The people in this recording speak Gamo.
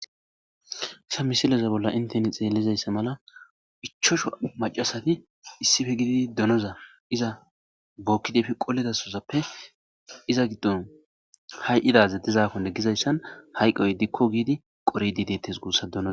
Ha misileza bolla inteni xelizaysa mala 5 macashati donoza iza bokidi efi qolidasozappe iza gidon hay'o dizakon gizaysan hayqoy dikko gidi qoridi detes gusa donoza